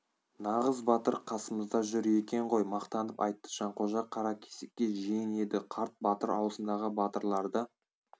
нағыз батыр қасымызда жүр екен ғой мақтанып айтты жанқожа каракесекке жиен еді қарт батыр аузындағы батырларды